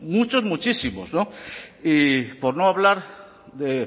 muchos muchísimos y por no hablar de